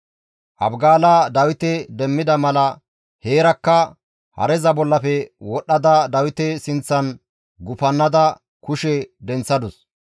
Abigaala Dawite demmida mala heerakka hareza bollafe wodhdhada Dawite sinththan gufannada kushe denththadus.